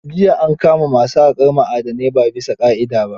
Jiya an kama masu haƙar ma'adanai ba bisa ƙa'ida ba.